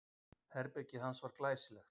Herbergið hans var glæsilegt.